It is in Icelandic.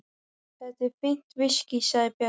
Þetta er fínt viskí, sagði Björn.